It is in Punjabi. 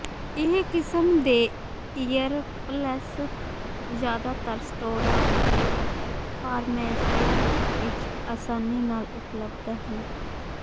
ਇਹ ਕਿਸਮ ਦੇ ਈਅਰਪਲੈਸ ਜ਼ਿਆਦਾਤਰ ਸਟੋਰਾਂ ਅਤੇ ਫਾਰਮੇਸੀਆਂ ਵਿੱਚ ਆਸਾਨੀ ਨਾਲ ਉਪਲਬਧ ਹਨ